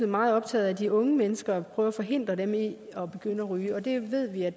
meget optaget af de unge mennesker og at forhindre dem i at begynde at ryge og det ved vi at